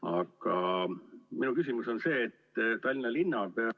Aga minu küsimus on see, et Tallinna linnapea ...